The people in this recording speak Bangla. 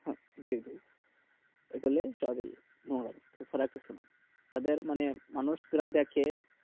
হ্যাঁ জি জি এই গুলো সব ই নোংরামি তা ধর মানুষ রা সব দেখে